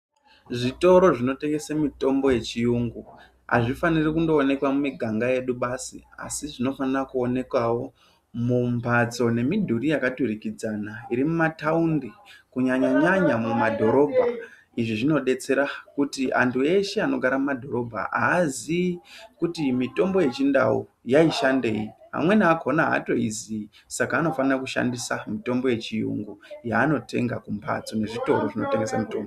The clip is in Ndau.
Zvitoro zvinotengese mitombo yechiyungu azvifaniri kungooneka mumiganga yedu basi asi zvinofanira kuonekawo mumbatso nemidhuri yakaturikidzana iri mumataundi kunyanya nyanya mumadhorobha izvi zvinodetsera kuti antu eshee anogara mumadhorobha aaziyi kuti mitombo yechiNdau yaishandei, amweni akona atoizivi saka anofana kushandisa mitombo yechiyungu yaanotenga kumbatso nezvitoro zvinotengese mitombo.